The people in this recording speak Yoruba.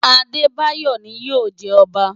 Adebayor ni yóò jẹ ọba.